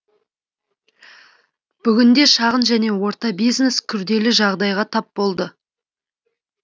бүгінде шағын және орта бизнес күрделі жағдайға тап болды